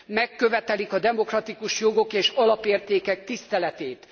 Megkövetelik a demokratikus jogok és alapértékek tiszteletét.